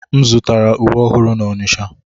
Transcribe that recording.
M zụtara uwe ọhụrụ n'Onitsha.